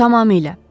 Tamamilə.